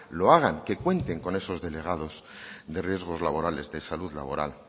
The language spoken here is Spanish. lo hagan que cuenten con esos delegados de riesgos laborales de salud laboral